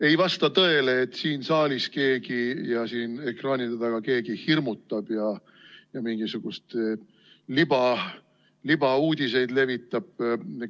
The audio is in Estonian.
Ei vasta tõele, et siin saalis keegi ja ekraanide taga keegi hirmutab ja mingisuguseid libauudiseid levitab.